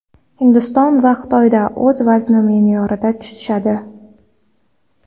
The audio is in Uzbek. Hindiston va Xitoyda o‘z vaznini me’yorida tutishadi.